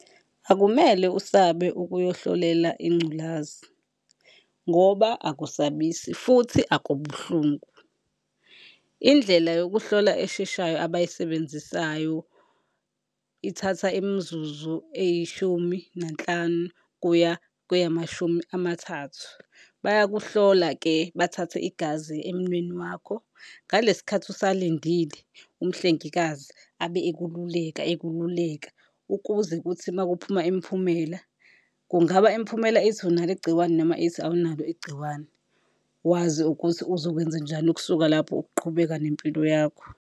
Akumele usabe ukuyohlolela ingculazi ngoba akusabisi futhi akubuhlungu. Indlela yokuhlola esheshayo abayisebenzisayo ithatha imizuzu eyishumi nanhlanu kuya kweyamashumi amathathu. Bayakuhlola-ke bathathe igazi emunweni wakho, ngale sikhathi usalindile umhlengikazi abe ekululeka ekululeka ukuze kuthi uma kuphuma imiphumela, kungaba imiphumela ithi unalo igciwane, noma ithi awunalo igciwane wazi ukuthi uzokwenze njani ukusuka lapho ukuqhubeka nempilo yakho.